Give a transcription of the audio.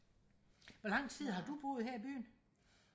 hvor lang tid har du boet her i byen